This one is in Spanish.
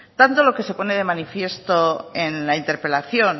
tando que se pone de manifiesto en la interpelación